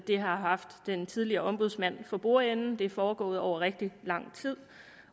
har haft den tidligere ombudsmand for bordenden det er foregået over rigtig lang tid